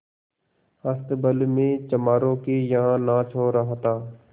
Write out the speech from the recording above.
अस्तबल में चमारों के यहाँ नाच हो रहा था